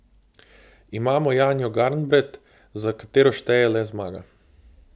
Imamo Janjo Garnbret, za katero šteje le zmaga.